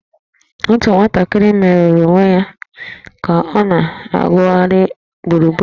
Otu nwatakịrị merụrụ onwe ya ka ọ na-awụgharị gburugburu